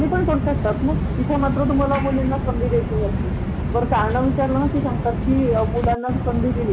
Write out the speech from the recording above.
तुला माहिती आहे परदेशमध्ये एक वर्षापर्यंत आई पगारी सुट्टी घेऊ शकते मॅटरनिटी लीव एक वर्ष.